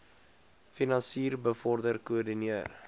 finansier bevorder koördineer